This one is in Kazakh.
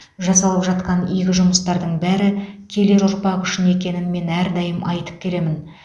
жасалып жатқан игі жұмыстардың бәрі келер ұрпақ үшін екенін мен әрдайым айтып келемін